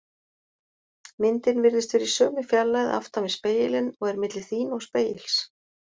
Myndin virðist vera í sömu fjarlægð aftan við spegilinn og er milli þín og spegils.